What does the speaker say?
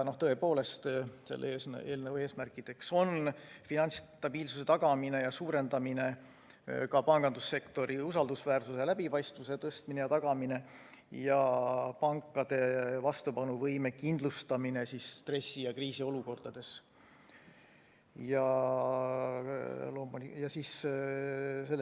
Tõepoolest, selle eelnõu eesmärkideks on finantsstabiilsuse tagamine ja suurendamine, pangandussektori usaldusväärsuse ja läbipaistvuse tagamine ja suurendamine ning pankade vastupanuvõime kindlustamine stressi- ja kriisiolukordades,